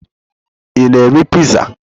Ị na-eri piizaa?